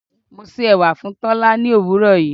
Mo se ẹwà fún Tola l'òwúrò yìí.